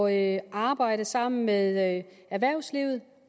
at arbejde sammen med erhvervslivet